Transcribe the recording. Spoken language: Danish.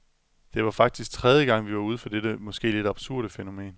Det var faktisk tredje gang, vi var ude for dette måske lidt absurde fænomen.